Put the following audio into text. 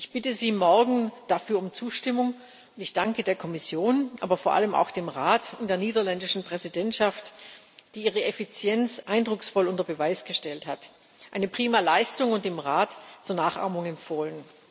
Ich bitte Sie dafür um Zustimmung morgen. Ich danke der Kommission, aber vor allem auch dem Rat und der niederländischen Präsidentschaft, die ihre Effizienz eindrucksvoll unter Beweis gestellt hat eine prima Leistung und im Rat zur Nachahmung empfohlen!